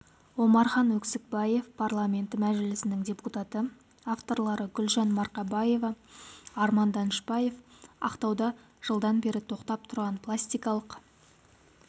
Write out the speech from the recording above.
омархан өксікбаев парламенті мәжілісінің депутаты авторлары гүлжан марқабаева арман данышпаев ақтауда жылдан бері тоқтап тұрған пластикалық